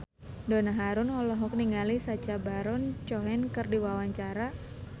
Donna Harun olohok ningali Sacha Baron Cohen keur diwawancara